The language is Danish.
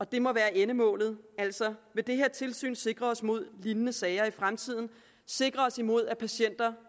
det må være endemålet at det her tilsyn sikrer os mod lignende sager i fremtiden sikrer os imod at patienter